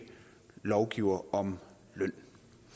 lovgiver om løn